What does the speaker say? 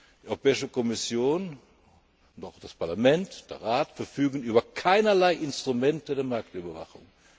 Die Europäische Kommission und auch das Parlament oder der Rat verfügen über keinerlei Instrumente der Marktüberwachung.